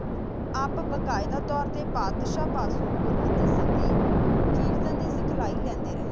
ਆਪ ਬਾਕਿਦਾ ਤੋਰ ਤਾ ਪਾਕ ਸ਼ਾਹ ਗੁਰਮਤਿ ਸੰਗੇਅਤ ਖਾਲੀ ਲਾਂਦਾ ਰਹਾ